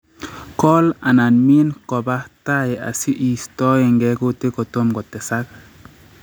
Kool/min koba tai asi iistoenge kutik kotomkotesak